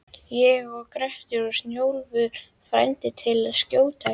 Ég og Grettir og Snjólfur frændi til að skjóta gæsir.